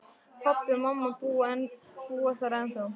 Pabbi og mamma búa þar ennþá.